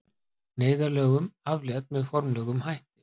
Neyðarlögum aflétt með formlegum hætti